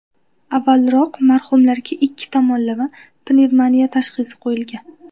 Avvalroq marhumlarga ikki tomonlama pnevmoniya tashxisi qo‘yilgan.